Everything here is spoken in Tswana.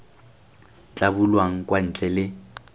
tla bulwang kwa ntle le